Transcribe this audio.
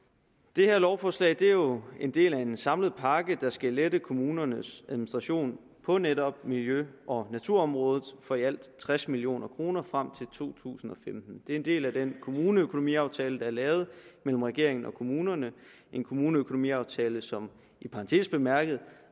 det her lovforslag er jo en del af en samlet pakke der skal lette kommunernes administration på netop miljø og naturområdet for i alt tres million kroner frem til to tusind og femten det er en del af den kommuneøkonomiaftale der er lavet mellem regeringen og kommunerne en kommuneøkonomiaftale som i parentes bemærket